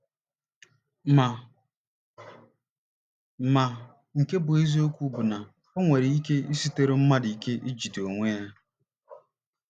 Ma Ma, nke bụ́ eziokwu bụ na o nwere ike isitụrụ mmadụ ike ijide onwe ya.